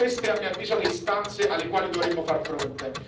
Queste sono a mio avviso le istanze alle quali dovremmo far fronte.